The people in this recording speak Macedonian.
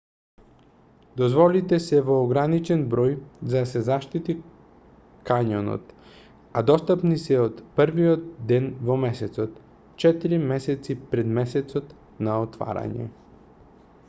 дозволите се во ограничен број за да се заштити кањонот а достапни се од првиот ден во месецот четири месеци пред месецот на отворање